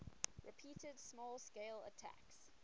repeated small scale attacks